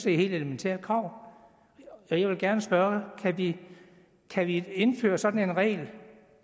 et helt elementært krav jeg vil gerne spørge kan vi kan vi indføre sådan en regel